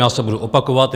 Já se budu opakovat.